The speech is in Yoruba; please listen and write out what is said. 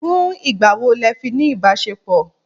Fún ìgbà wo lẹ fi ní ìbáṣepọ̀?